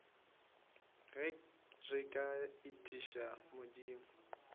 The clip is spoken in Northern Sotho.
ge re ka etiša modimo